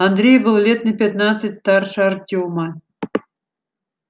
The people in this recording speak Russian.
андрей был лет на пятнадцать старше артема